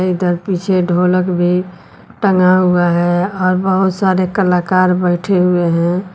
इधर पीछे ढोलक भी टंगा हुआ है और बहोत सारे कलाकार बैठे हुए हैं।